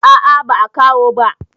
A'a ba a kawo ba.